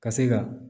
Ka se ka